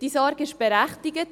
Diese Sorge ist berechtigt.